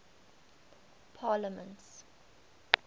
parliaments